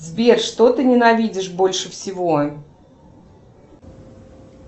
сбер что ты ненавидишь больше всего